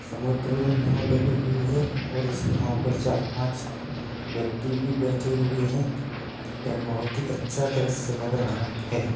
समुद्र में नाव डली हुई हैं और उस नाव पे चार पांच व्यक्ति भी बैठे हुए हैं। ये बोहोत अच्छा द्रिश्य लग रहा है।